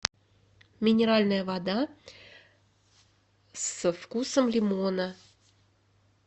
минеральная вода со вкусом лимона